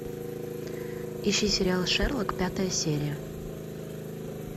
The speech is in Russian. ищи сериал шерлок пятая серия